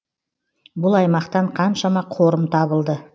бұл аймақтан қаншама қорым табылды